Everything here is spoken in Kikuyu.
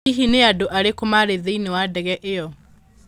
Hihi nĩ andũ arĩkũ maarĩ thĩinĩ wa ndege ĩyo?